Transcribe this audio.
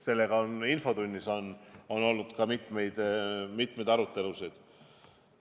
Sellel teemal on meil ka infotunnis olnud mitmeid arutelusid.